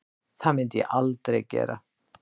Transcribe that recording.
Það myndi ég aldrei gera